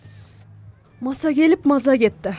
маса келіп маза кетті